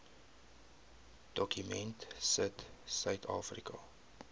dokument sit suidafrika